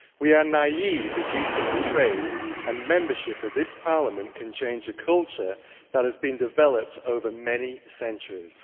We are naïve if we think trade and membership of this Parliament can change a culture that has been developed over many centuries.